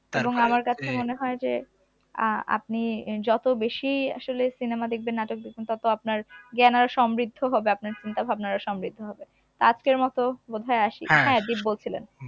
মনে হয় যে আহ আপনি আহ যত বেশি আসলে cinema দেখবেন নাটক দেখবেন তত আপনার জ্ঞান আর সমৃদ্ধ হবে আপনার চিন্তা-ভাবনা আরো সমৃদ্ধ হবে তা আজকের মত বোধয় আসি বলছিলে